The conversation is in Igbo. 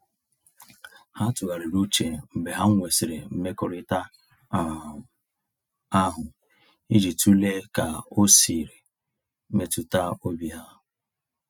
Ha tụgharịrị uche mgbe ha nwesịrị mmekọrịta um ahụ iji tụlee ka o siri metụta obi ha.